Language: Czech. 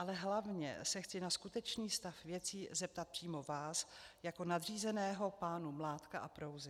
Ale hlavně se chci na skutečný stav věcí zeptat přímo vás jako nadřízeného pánů Mládka a Prouzy.